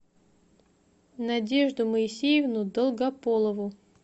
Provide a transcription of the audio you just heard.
надежду моисеевну долгополову